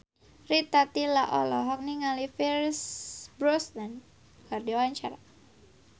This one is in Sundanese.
Rita Tila olohok ningali Pierce Brosnan keur diwawancara